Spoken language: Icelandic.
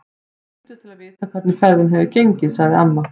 Þau hringdu til að vita hvernig ferðin hefði gengið, sagði amma.